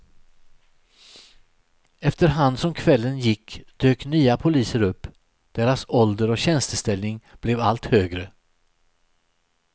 Efterhand som kvällen gick dök nya poliser upp, deras ålder och tjänsteställning blev allt högre.